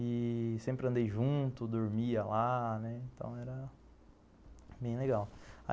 E sempre andei junto, dormia lá, né, então era bem legal.